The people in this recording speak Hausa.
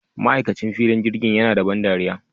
Ma'aikacin filin jirgin yana da ban ɗariya